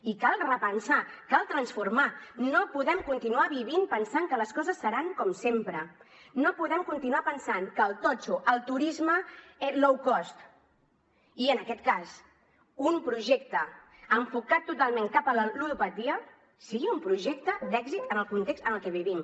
i cal repensar cal transformar no podem continuar vivint pensant que les coses seran com sempre no podem continuar pensant que el totxo el turisme low cost i en aquest cas un projecte enfocat totalment cap a la ludopatia sigui un projecte d’èxit en el context en el que vivim